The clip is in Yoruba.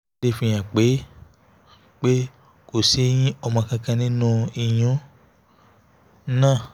ìwádìí náà fi hàn pé pé kò sí ẹyin ọmọ kankan nínú ìyún um náà